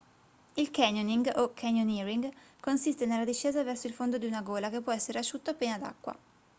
il canyoning o canyoneering consiste nella discesa verso il fondo di una gola che può essere asciutta o piena d'acqua